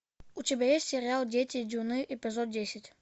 у тебя есть сериал дети дюны эпизод десять